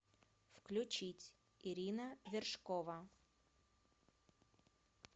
включить ирина вершкова